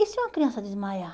E se uma criança desmaiar?